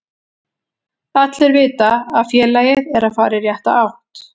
Allir vita að félagið er að fara í rétta átt.